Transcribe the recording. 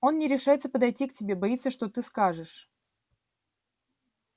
он не решается подойти к тебе боится что ты скажешь